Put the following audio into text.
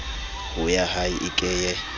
ho yahae e ke ye